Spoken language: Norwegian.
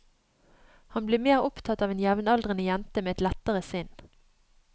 Han blir mer opptatt av en jevnaldrende jente med et lettere sinn.